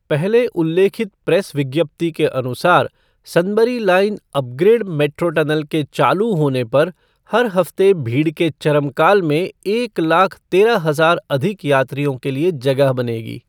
पहले उल्लेखित प्रेस विज्ञप्ति के अनुसार, Sunbury line upgrade metro tunnel के चालू होने पर हर हफ्ते भीड़ के चरम काल में एक लाख तेरह हजार अधिक यात्रियों के लिए जगह बनेगी।